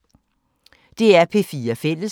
DR P4 Fælles